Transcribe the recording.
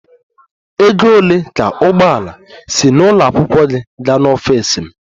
Ego ole ka ụgbọ ala si n'ụlọ akwụkwọ gị gaa n'ọfịs m?